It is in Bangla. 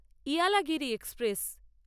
ইয়ালাগিরি এক্সপ্রেস